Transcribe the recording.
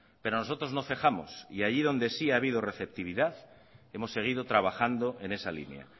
pero nosotros nos cejamos y allí donde sí ha habido receptividad hemos seguido trabajando en esa línea